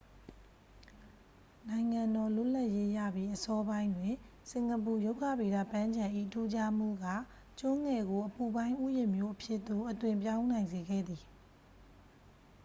နိုင်ငံတော် လွတ်လပ်ရေးရပြီး အစောပိုင်းတွင် စင်ကာပူ ရုက္ခဗေဒပန်းခြံ၏ ထူးခြားမှုက ကျွန်းငယ်ကို အပူပိုင်း ဥယျာဉ်မြို့အဖြစ်သို့ အသွင်းပြောင်းနိုင်စေခဲ့သည်